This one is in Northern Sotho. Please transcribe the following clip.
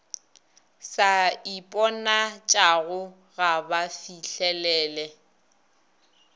sa iponatšago ga ba fihlelele